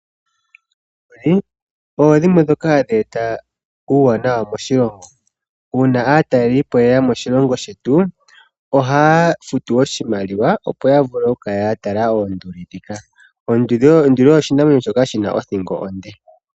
Oonduli odho dhimwe dhoka hadhi eta uuwanawa moshilongo. Uuna aatalelipo yeya moshilongo shetu ohaya futu oshimaliwa opo yavule okukala yatala oonduli dhika. Oonduli odho oshinamwenyo shoka shina othingo onde.